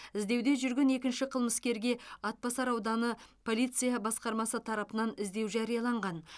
іздеуде жүрген екінші қылмыскерге атбасар ауданы полиция басқармасы тарапынан іздеу жарияланған